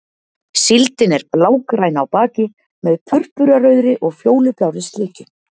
Síldin er blágræn á baki með purpurarauðri og fjólublárri slikju.